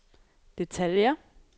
detaljer